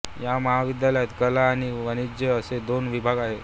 या महाविद्यालयात कला आणि वाणिज्य असे दोन विभाग आहेत